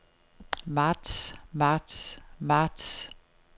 marts marts marts